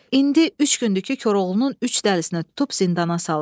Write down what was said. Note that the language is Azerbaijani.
İndi üç gündür ki Koroğlunun üç dəlisini tutub zindana salıb.